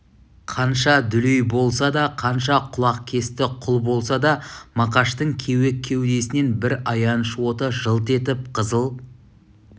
қанша дүлей болса да қанша құлақкесті құл болса да мақаштың кеуек кеудесінен бір аяныш оты жылт етіп қызыл